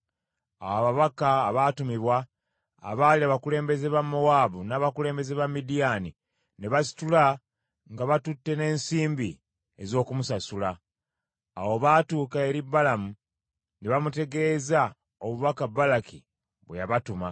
Awo ababaka abaatumibwa, abaali abakulembeze ba Mowaabu n’abakulembeze ba Midiyaani, ne basitula nga batutte n’ensimbi ez’okumusasula. Bwe baatuuka eri Balamu ne bamutegeeza obubaka Balaki bwe yabatuma.